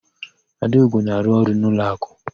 Adaugo na-arụ ọrụ n'ụlọakụ.